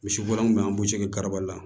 Misiboro min bɛ an b'u segi ka kɔrɔbaya